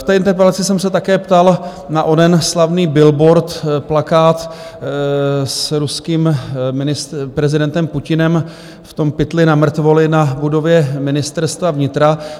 V té interpelaci jsem se také ptal na onen slavný billboard, plakát s ruským prezidentem Putinem v tom pytli na mrtvoly na budově Ministerstva vnitra.